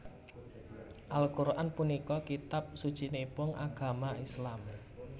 Al Qur an punika kitab sucinipun agama Islam